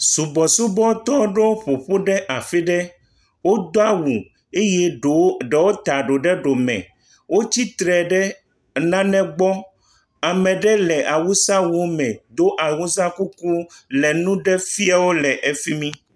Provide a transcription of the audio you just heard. Subɔsubɔtɔ ɖewo ƒo ƒu ɖe afi ɖe, wodo awu eye ɖewo ta ɖo ɖe ɖo me, wotsi tre ɖe nane gbɔ, ame ɖe le awusa wu me do awusa kuku le nu ɖe fiewo le efi mi.